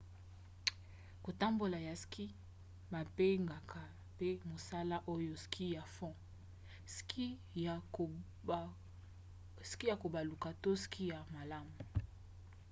kotambola ya ski: babengaka mpe mosala oyo ski ya fond ski ya kobaluka to ski ya malamu